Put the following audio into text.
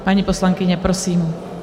Paní poslankyně, prosím.